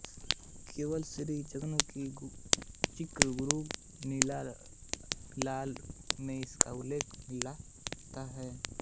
केवल श्री जगन्नाथ जी कृत गुरू लीला विलास में इसका उल्लेख मिलता है